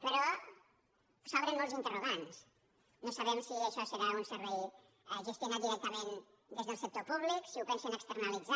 però s’obren molts interrogants no sabem si això serà un servei gestionat directament des del sector públic si ho pensen externalitzar